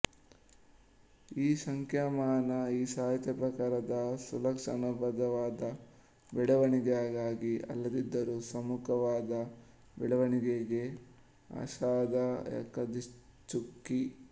ಈ ಸಂಖ್ಯಾಮಾನ ಈ ಸಾಹಿತ್ಯಪ್ರಕಾರದ ಸುಲಕ್ಷಣಬದ್ಧವಾದ ಬೆಳವಣಿಗೆಗೆ ಅಲ್ಲದಿದ್ದರೂ ಸುಮುಖವಾದ ಬೆಳವಣಿಗೆಗೆ ಆಶಾದಾಯಕ ದಿಕ್ಸೂಚಿ